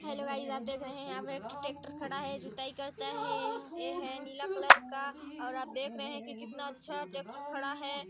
Hello guys आप देख रहे है यहाँ पर एक ठो टैक्टर खड़ा है जुताई करता है ई हे नीला कलर का और आप देख रहे है कितना अच्छा टैक्टर खड़ा है ।